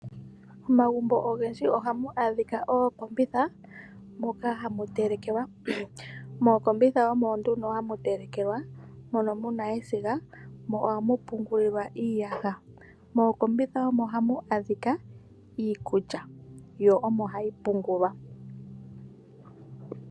Momagumbo ogendji ohamu adhika ookombitha moka hamutelekelwa. Mookombitha omo nduno hamu telekelwa mono muna esiga nohamu pungulilwa iiyaha. Mokombitha omo hamu adhika iikulya yo omo hayi pungulwa.